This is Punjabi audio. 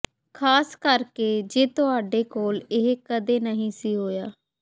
ਖ਼ਾਸ ਕਰਕੇ ਜੇ ਤੁਹਾਡੇ ਕੋਲ ਇਹ ਕਦੇ ਨਹੀਂ ਸੀ ਹੋਇਆ